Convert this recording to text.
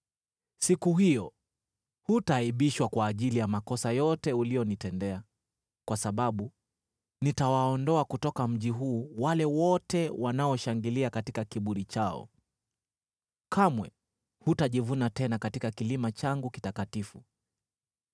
Siku hiyo hutaaibishwa kwa ajili ya makosa yote ulionitendea, kwa sababu nitawaondoa kutoka mji huu wale wote wanaoshangilia katika kiburi chao. Kamwe hutajivuna tena katika kilima changu kitakatifu.